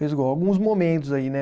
alguns momentos aí, né?